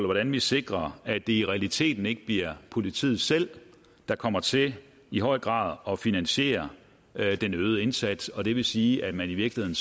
hvordan vi sikrer at det i realiteten ikke bliver politiet selv der kommer til i høj grad at finansiere den øgede indsats det vil sige at man i virkeligheden